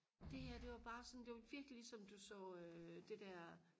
det her det var bare sådan det var virkelig ligesom du så øh det der